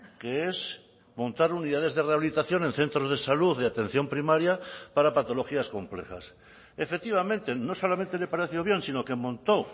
que es montar unidades de rehabilitación en centros de salud de atención primaria para patologías complejas efectivamente no solamente le pareció bien sino que montó